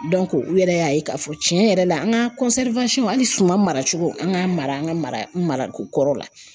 u yɛrɛ y'a ye k'a fɔ tiɲɛ yɛrɛ la an ka hali suman mara cogo an k'an mara an ka mara mara ko kɔrɔ la